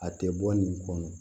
A tɛ bɔ nin kɔnɔ